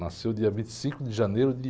Nasceu dia vinte e cinco de janeiro de